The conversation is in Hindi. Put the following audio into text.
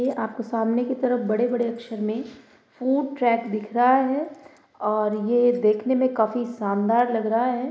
ए आपके सामने की तरफ बड़े-बड़े अक्षर में फ़ूड ट्रैक दिख रहा है और ये देखने में काफी शानदार लग रहा है।